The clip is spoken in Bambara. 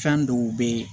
Fɛn dɔw be ye